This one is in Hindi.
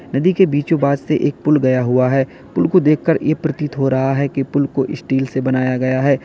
नदी के बीचो बास से एक पुल गया हुआ है। पुल को देखकर यह प्रतीत हो रहा है कि पुल को स्टील से बनाया गया है।